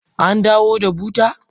An dawo da buta?